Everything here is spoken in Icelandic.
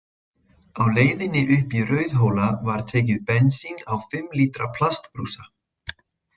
Á leiðinni upp í Rauðhóla var tekið bensín á fimm lítra plastbrúsa.